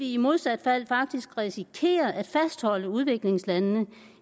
i modsat fald faktisk risikerer at fastholde udviklingslandene